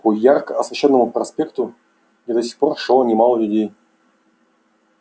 по ярко освещённому проспекту где до сих пор шло немало людей